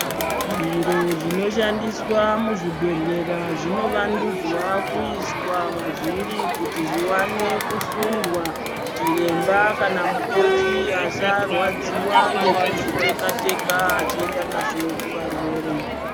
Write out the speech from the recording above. Zviro zvinoshandiswa muzvibhedhlera zvinovandudzwa kuiswa mavhiri kuti zviwane kusundwa kuti chiremba kana mukoti asarwadziwa achizviteka Teka azvienda nazvo kuvarwere.